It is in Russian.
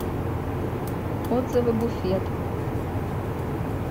отзывы буфет